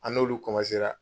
An n'olu